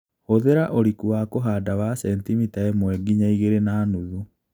Hũthĩra ũriku wa kũhanda wa sentimita ĩmwe nginya ĩgilĩ na nuthu